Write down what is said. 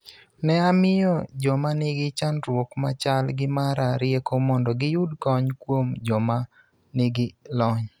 Ne amiyo joma nigi chandruok ma chal gi mara rieko mondo giyud kony kuom joma nigi lony.